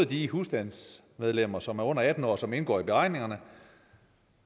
de husstandsmedlemmer som er under atten år og som indgår i beregningerne